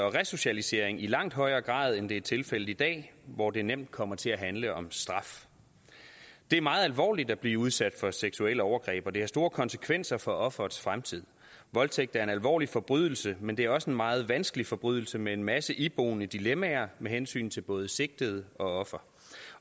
og resocialisering i langt højere grad end det er tilfældet i dag hvor det nemt kommer til at handle om straf det er meget alvorligt at blive udsat for seksuelle overgreb og det har store konsekvenser for offerets fremtid voldtægt er en alvorlig forbrydelse men det er også en meget vanskelig forbrydelse med en masse iboende dilemmaer med hensyn til både sigtede og offer